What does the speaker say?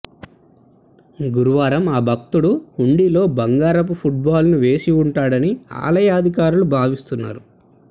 గురువారం ఆ భక్తుడు హుండీలో బంగారు ఫుట్బాల్ను వేసి వుంటాడని ఆలయ అధికారులు భావిస్తున్నారు